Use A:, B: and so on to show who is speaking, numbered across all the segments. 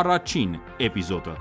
A: առաջին էպիզոդը։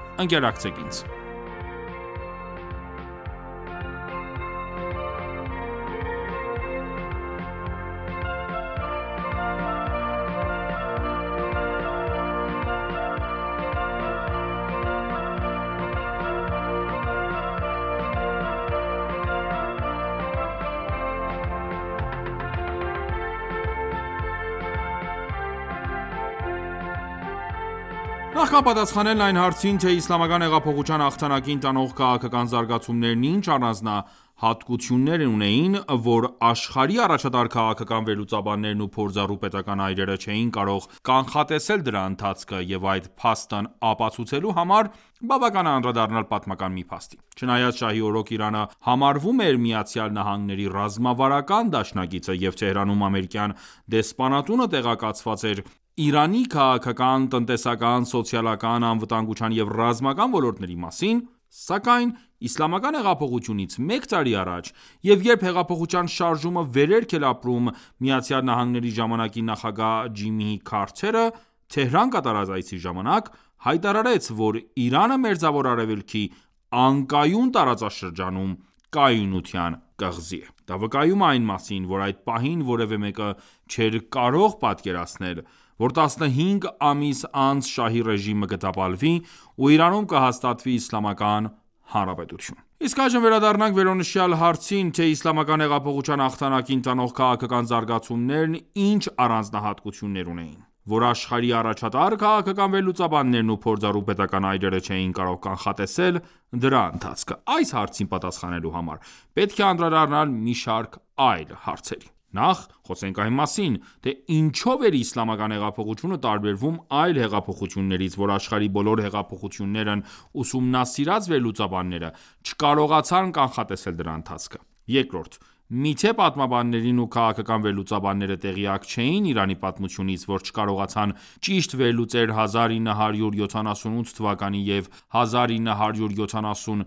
A: Նախքան պատասխանելն այն հարցին, թե՝ Իսլամական հեղափոխության հաղթանակին տանող քաղաքական զարգացումներն ի՞նչ առանձնահատլություններ ունեին, որ աշխարհի առաջատար քաղաքական վերլուծաբաններն ու փորձառու պետական այրերը չէին կարող կանխատեսել դրա ընթացքը և այդ փաստն ապացուցելու համար, բավական է անդրադառնալ պատմական մի փաստի։ Չնայած շահի օրոք Իրանը համարվում էր ԱՄՆ-ի ռազմավարական դաշնակիցը և Թեհրանում ամերիկյան դեսպանատունը տեղեկացված էր Իրանի քաղաքական, տնտեսական, սոցիալական, անվտանգության և ռազմական ոլորտների մասին, սակայն իսլամական հեղափոխությունից մեկ տարի առաջ և երբ հեղափոխության շարժումը վերելք էր ապրում, ԱՄՆ ժամանակի նախագահ Ջիմի Քարթերը, Թեհրան կատարած այցի ժամանակ, հայտարարեց, որ Իրանը Մերձավոր Արևելքի անկայուն տարածաշրջանում կայունության կղզի է։ Դա վկայում է այն մասին, որ այդ պահին որևէ մեկը չէր կարող պատկերացնել, որ 15 ամիս անց շահի ռեժիմը կտապալվի ու Իրանում կհաստատվի իսլամական հանրապետություն։ Իսկ այժմ վերադառնանք վերոնշյալ հարցին, թե Իսլամական հեղափոխության հաղթանակին տանող քաղաքական զարգացումները ի՞նչ առանձնահատլություններ ունեին, որ աշխարհի առաջատար քաղաքական վերլուծաբաններն ու փորձառու պետական այրերը չէին կարող կանխատեսել դրա ընթացքը։ Այս հարցին պատասխանելու համար պետք է անդրադառնալ մի շարք այլ հարցերի։ Նախ՝ խոսենք այն մասին, թե ինչո՞վ էր իսլամական հեղափոխությունը տարբերվում այլ հեղափոխություններից, որ աշխարհի բոլոր հեղափոխություններն ուսումնասիրած վերլուծաբանները չկարողացան կանխատեսել դրա ընթացքը։ Երկրորդ՝ միթե պատմաբաններն ու քաղաքական վերլուծաբանները տեղյակ չէի՞ն Իրանի պատմությունից, որ չկարողացան ճիշտ վերլուծել 1978 և 1979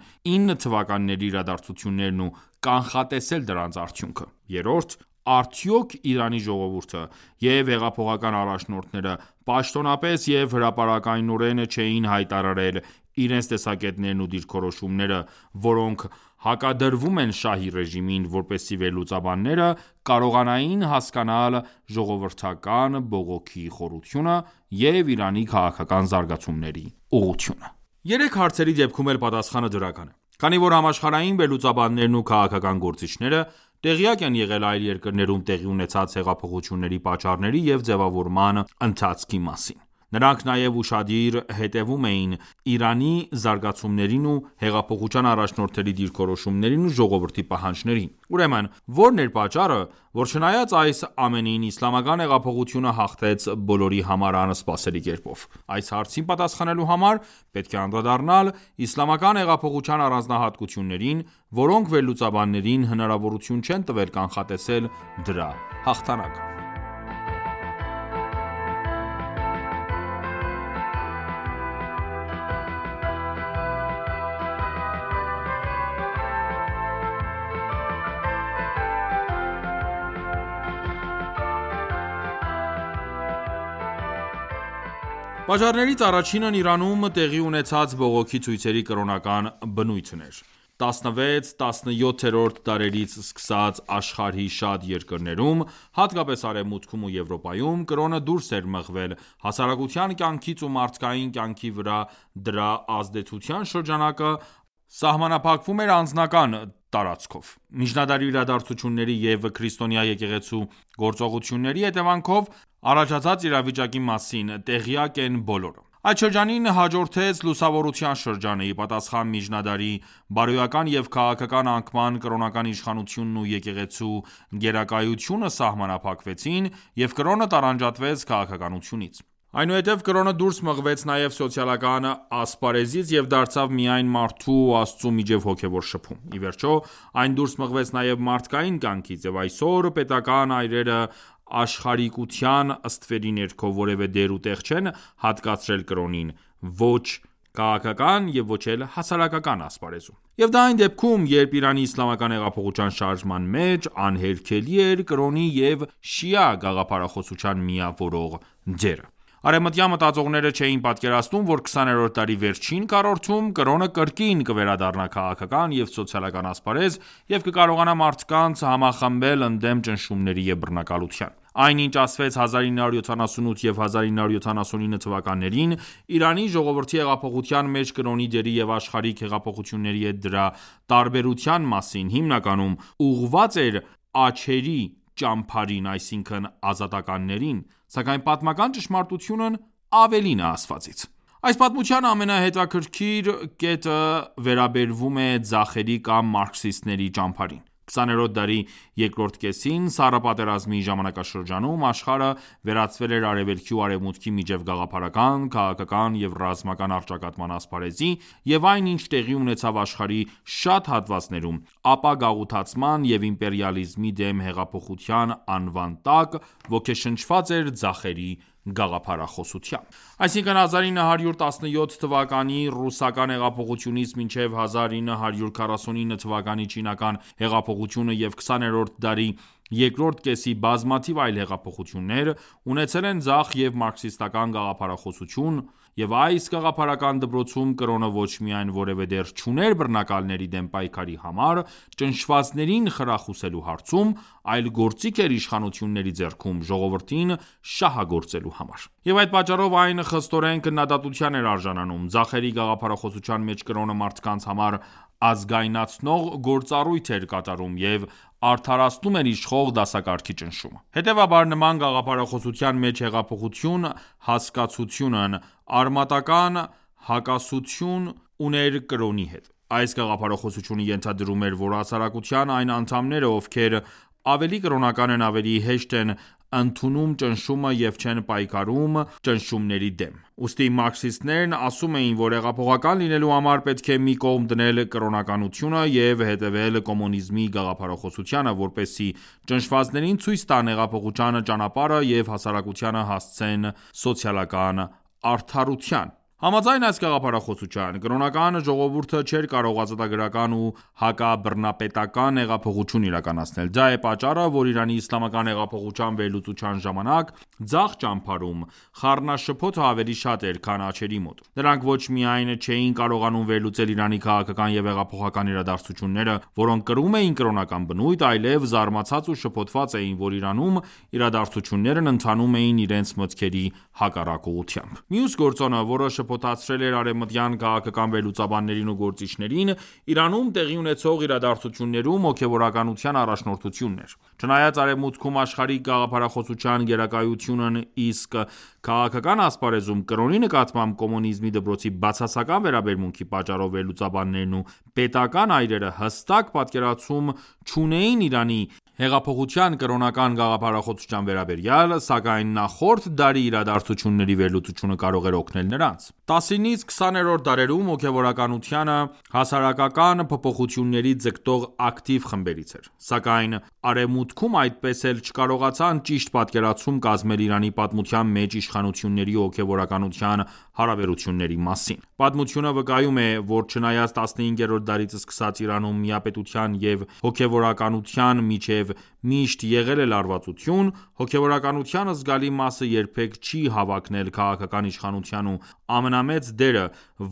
A: թթ իրադարձություններն ու կանխատեսել դրանց արդյունքը։ Երրորդ՝ արդյոք Իրանի ժողովուրդը և հեղափոխական առաջնորդները պաշտոնապես և հրապարակայնորեն չէին հայտարարե՞լ իրենց տեսակետներն ու դիրքորոշումները, որոնք հակադրվում են շահի ռեժիմին, որպեսզի վերլուծաբանները կարողանային հասկանալ ժողովրդական բողոքի խորությունը և Իրանի քաղաքական զարգացումների ուղղությունը։ Երեք հարցերի դեպքում էլ պատասխանը դրական է, քանի որ համաշխարհային վերլուծաբաններն ու քաղաքական գործիչները տեղյակ են եղել այլ երկրներում տեղի ունեցած հեղափոխությունների պատճառների և ձևավորման ընթացքի մասին։ Նրանք նաև ուշադիր հետևում էին Իրանի զարգացումներին և հեղափոխության առաջնորդների դիրքորոշումներին ու ժողովրդի պահանջներին։ Ուրեմն ո՞րն էր պատճառը, որ չնայած այս ամենին, Իսլամական հեղափոխությունը հաղթեց բոլորի համար անսպասելի կերպով։ Այս հարցին պատասխանելու համար պետք է անդրադառնալ իսլամական հեղափոխության առանձնահատկություններին, որոնք վերլուծաբաններին հնարավորություն չեն տվել կանխատեսել դրա հաղթանակը։ Պատճառներից առաջինն Իրանում տեղի ունեցած բողոքի ցույցերի կրոնական բնույթն էր։ 16-17-րդ դարերից սկսած, աշխարհի շատ երկրներում, հատկապես՝ Արևմուտքում ու Եվրոպայում, կրոնը դուրս էր մղվել հասարակության կյանքից և մարդկային կյանքի վրա դրա ազդեցության շրջանակը սահմանափակվում էր անձնական տարածքով։ Միջնադարի իրադաձությունների և քրիստոնյա եկեղեցու գործողությունների հետևանքով առաջացած իրավիճակի մասին տեղյալկ են բոլորը։ Այդ շրջանին հաջորդեց լուսավորության շրջանը, ի պատասխան միջնադարի բարոյական և քաղաքական անկման, կրոնական ինքնիշխանությունն ու եկեղեցու գերակայությունը սահմանափակվեցին, և կրոնը տարանջատվեց քաղաքականությունից։ Այնուհետև կրոնը դուրս մղվեց նաև սոցիալական ասպարեզից և դարձավ միայն մարդու ու Աստծու միջև հոգևոր շփում։ Ի վերջո այն դուրս մղվեց նաև մարդկային կյանքից։ Եվ այսօր Արևմուտքում տիրող հոգևոր ճգնաժամը դրա արդյունքն է։ Արևմտյան մտածողներն ու պետական այրերը աշխարհիկության ստվերի ներքո որևէ դեր ու տեղ չեն հատկացրել կրոնին, ոչ քաղաքական և ոչ էլ հասարակական ասպարեզում։ Եվ դա այն դեպքում, երբ Իրանի իսլամական հեղափոխության շարժման մեջ անհերքելի էր կրոնի և շիա գաղափարախոսության միավորող դերը: Արևմտյան մտածողները չէին պատկերացնում, որ 20-րդ դարի վերջին քառորդում կրոնը կրկին կվերադառնա քաղաքական և սոցիալական ասպարեզ և կկարողանա մարդկանց համախմբել ընդդեմ ճնշումների և բռնակալության: Այն ինչ ասվեց 1978 և 1979 թթ Իրանի ժողովրդի հեղափոխության մեջ կրոնի դերի և աշխարհիկ հեղափոխությունների հետ դրա տարբերության մասին, հիմնականում ուղղված էր աջերի ճամբարին՝ այսինքն ազատականներին։ Սակայն պատմական ճշմարտությունն ավելին է ասվածից։ Այս պատմության ամենահետաքրքիր կետը վեաբերվում է ձախերի կամ մարքսիստների ճամբարին։ 20-րդ դարի երկրորդ կեսին՝ Սառը պատերազմի ժամանակաշրջանում, աշխարհը վերածվել էր Արևելքի ու Արևմուտքի միջև գաղափարական, քաղաքական և ռազմական առճակատման ասպարեզի և այն, ինչ տեղի ունեցավ աշխարհի շատ հատվածներում ապագաղութացման և իմպերիալիզմի դեմ հեղափոխության անվան տակ, ոգեշնչված էր ձախերի գաղափարախոսությամբ։ Այսինքն՝ 1917 թվականի ռուսական հեղափոխությունից մինչև 1949 թվականի չինական հեղափոխությունը և 20-րդ դարի երկրորդ կեսի բազմաթիվ այլ հեղափոխություններ, ունեցել են ձախ և մարքսիստական գաղափարախոսություն։ Այս գաղափարական դպրոցում կրոնը ոչ միայն որևէ դեր չուներ բռնակալների դեմ պայքարի համար ճնշվածներին խրախուսելու հարցում, այլ գործիք էր իշխանությունների ձեռքում՝ ժողովրդին շահագործելու համար։ Եվ այդ պատճառով այն խստորեն քննադատության էր արժանանում։ Ձախերի գաղափարախոսության մեջ կրոնը մարդկանց համար անզգայացնող գործառույթ էր կատարում և արդարացնում էր իշխող դասակարգի ճնշումը։ Հետևաբար նման գաղափարախոսության մեջ հեղափոխություն հասկացությունն արմատական հակասություն ուներ կրոնի հետ։ Այս գաղափարախոսությունը ենթադրում էր, որ հասարակության այն անդամները, ովքեր ավելի կրոնական են, ավելի հեշտ են ընդունում ճնշումը և չեն պայքարում ճնշումների դեմ։ Ուստի մարքսիստներն ասում էին, որ հեղափոխական լինելու համար պետք է մի կողմ դնել կրոնականությունը և հետևել կոմունիզմի գաղափարախոսությանը, որպեսզի ճնշվածներին ցույց տան հեղափոխության ճանապարհը և հասարակությանը հասցնեն սոցիալական արդարության։ Համաձայն այս գաղափարախոսության՝ կրոնական ժողովուրդը չէր կարող ազատագրական ու հակաբռնապետական հեղափոխություն իրականացնել։ Դա է պատճառը, որ Իրանի իսլամական հեղափոխության վերլուծության ժամանակ, ձախ ճամբարում խառնաշփոթը ավելի շատ էր, քան աջերի մոտ։ Նրանք ոչ միայն չէին կարողանում վերլուծել Իրանի քաղաքական և հեղափոխական իրադարձությունները, որոնք կրում էին կրոնական բնույթ, այլև զարմացած ու շփոթված էին, որ Իրանում իրադարձություններն ընթանում էին իրենց մտքերի հակառակ ուղղությամբ։ Մյուս գործոնը, որ շփոթեցրել էր արևմտյան քաղաքական վերլուծաբաններին ու գործիչներին, Իրանում տեղի ունեցող իրադարձություններում հոգևորականության առաջնորդությունն էր։ Չնայած Արևմուտքում աշխարհիկ գաղափարախոսության գերակայությանն, իսկ քաղաքական ասպարեզում կրոնի նկատմամբ կոմունիզմի դպրոցի բացասական վերաբերմունքի պատճառով վերլուծաբաններն ու պետական այրերը հստակ պատկերացում չունեին Իրանի հեղափոխության կրոնական գաղափարախոսության վերաբերյալ, սակայն նախորդ դարի իրադարձությունների վերլուծությունը կարող էր օգնել նրանց։ 19-20-րդ դարերում հոգևորականությունը հասարակական փոփոխությունների ձգտող ակտիվ խմբերից էր։ Սակայն Արևմուտքում այդպես էլ չկարողացան ճիշտ պատկերացում կազմել Իրանի պատմության մեջ իշխանությունների ու հոգևորականության հարաբերությունների մասին։ Պատմությունը վկայում է, որ չնայած 15-րդ դարից սկսած Իրանում միապետության և հոգևորականության միջև միշտ եղել է լարվածություն, հոգևորականության զգալի մասը երբեք չի հավակնել քաղաքական իշխանության և ամենամեծ դերը,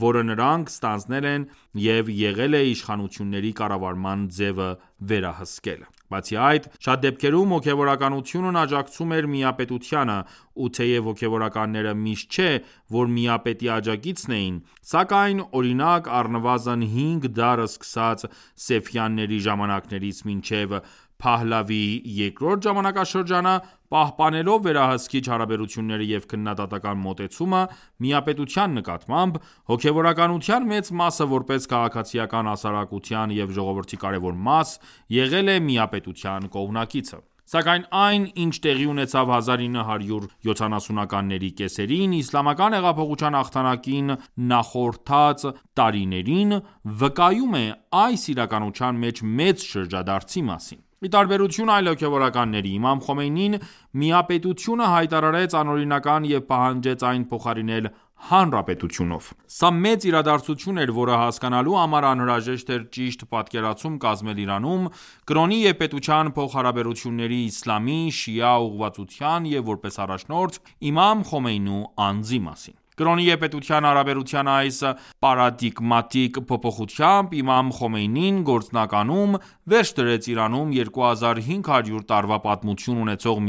A: որը նրանք ստանձնել են, եղել է իշխանությունների կառավարման ձևը վերահսկելը։ Բացի այդ, շատ դեպքերում, հոգևորականությունն աջակցում էր միապետությանը։ Ու թեև հոգևորականները միշտ չէ, որ միապետի աջակիցն էին, սակայն օրինակ առնվազն հինգ դար, սկսած Սեֆյանների ժամանակներից մինչև Փահլավի II ժամանակաշրջանը, պահպանելով վերահսկիչ հարաբերությունները և քննադատական մոտեցումը միապետության նկատմամբ, հոգևորականության մեծ մասը, որպես քաղաքացիական հասարակության և ժողովրդի կարևոր մաս, եղել է միապետության կողմնակիցը: Սակայն այն, ինչ տեղի ունեցավ 1970-ականների կեսերին, իսլամական հեղափոխության հաղթանակին նախորդած տարիներին, վկայում է այս իրականության մեջ մեծ շրջադարձի մասին։ Ի տարբերություն այլ հոգևորականների, իմամ Խոմեյնին միապետությունը հայտարարեց անօրինական և պահանջեց այն փոխարինել հանրապետությունով։ Սա մեծ իրադարձություն էր, որը հասկանալու համար անհրաժեշտ էր ճիշտ պատկերացում կազմել Իրանում կրոնի և պետության փոխհարաբերությունների, իսլամի, շիա ուղղվածության և որպես առաջնորդ՝ իմամ Խոմեյնու անձի մասին։ Կրոնի և պետության հարաբերության այս պարադիգմատիկ փոփոխությամբ իմամ Խոմեյնին գործնականում վերջ դրեց Իրանում 2500 տարվա պատմություն ունեցող միապետությանը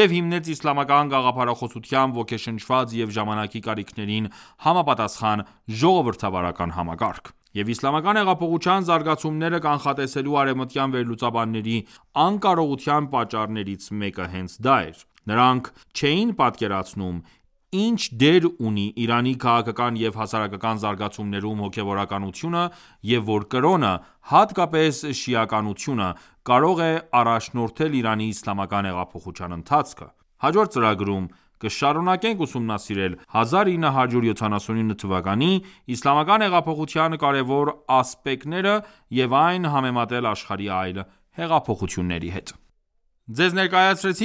A: և հիմնեց իսլամական գաղափարախոսությամբ ոգեշնչված և ժամանակի կարիքներին համապատասխան՝ ժողովրդավարական համակարգ։ Եվ իսլամական հեղափոխության զարգացումները կանխատեսելու արևմտյան վերլուծաբանների անկարողության պատճառներից մեկը հենց դա էր։ Նրանք չէին պատկերացնում, ինչ դեր ունի Իրանի քաղաքական և հասարակական զարգացումներում հոգևորականությունը և որ կրոնը, հատկապես շիականությունը, կարող է առաջնորդել Իրանի իսլամական հեղափոխության ընթացքը: Հաջորդ ծրագրում կշարունակենք ուսումնասիրել 1979թ իսլամական հեղափոխության կարևոր ասպեկտները և այն համեմատել աշխարհի այլ հեղափոխությունների հետ։ Ավարտվեց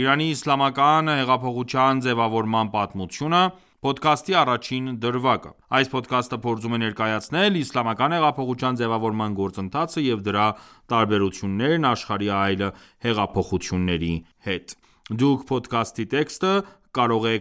A: «Իրանի իսլամական հեղափոխության ձևավորման պատմությունը» փոդքասթի առաջին դրվագը, որի ընթացքում փորձեցի ներկայացնել իսլամական հեղափոխության ձևավորման գործընթացը և դրա տարբերություններն աշխարհի այլ հեղափոխությունների հետ։ Դուք կարող եք